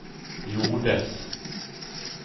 gjordes